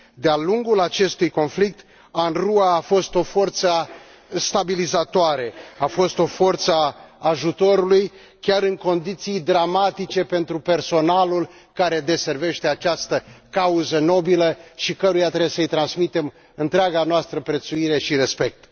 De a lungul acestui conflict, UNRWA a fost o forță stabilizatoare, a fost o forță a ajutorului, chiar în condiții dramatice pentru personalul care deservește această cauză nobilă și căruia trebuie să i transmitem întreaga noastră prețuire și respect.